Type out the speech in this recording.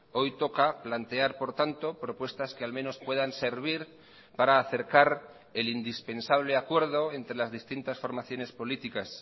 hoy toca plantear por tanto propuestas que al menos puedan servir para acercar el indispensable acuerdo entre las distintas formaciones políticas